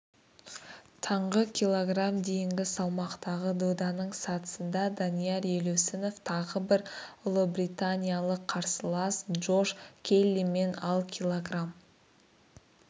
таңғы кг дейінгі салмақтағы доданың сатысында данияр елеусінов тағы бір ұлыбританиялық қарсылас джош келлимен ал кг